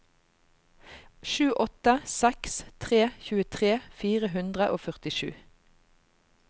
sju åtte seks tre tjuetre fire hundre og førtisju